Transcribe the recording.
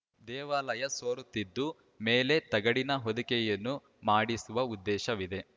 ದೇವಾಲಯ ಸೋರುತ್ತಿದ್ದು ಮೇಲೆ ತಗಡಿನ ಹೊದಿಕೆಯನ್ನು ಮಾಡಿಸುವ ಉದ್ದೇಶವಿದೆ